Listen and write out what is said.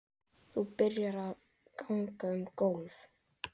Þú byrjar að ganga um gólf.